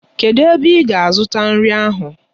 Kedụ ebe ị ga-azụta nri ahụ?